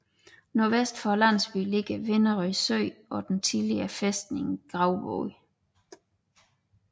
Nordvest for landsbyen ligger Venerød Sø og den tidligere fæstning Gravbod